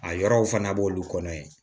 A yɔrɔw fana b'olu kɔnɔ yen